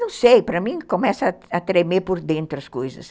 Não sei, para mim, começa a tremer por dentro as coisas.